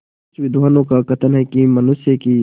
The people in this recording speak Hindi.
कुछ विद्वानों का कथन है कि मनुष्य की